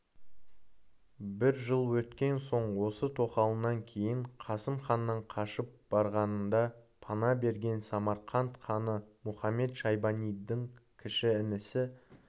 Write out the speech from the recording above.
бір жыл өткен соң осы тоқалынан кейін қасым ханнан қашып барғанында пана берген самарқант ханы мұхамед-шайбанидың кіші інісі